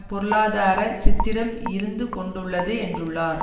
பொருளாதார சித்திரம் இருந்து கொண்டுள்ளது என்றுள்ளார்